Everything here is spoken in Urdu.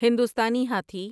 ہندوستانی ہاتھی